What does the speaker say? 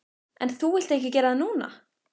En þú vilt ekki gera það núna.